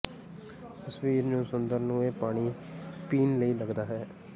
ਤਸਵੀਰ ਨੂੰ ਸੁੰਦਰ ਨੂੰ ਇਹ ਪਾਣੀ ਪੀਣ ਲਈ ਲੱਗਦਾ ਹੈ